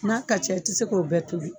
N'a ka ca i tɛ se k'o bɛɛ tobi.